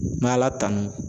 N b'ala tanu.